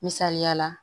Misaliya la